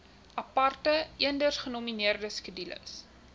aparte eendersgenommerde skedules